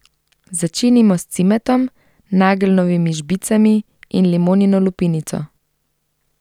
Začinimo s cimetom, nageljnovimi žbicami in limonino lupinico.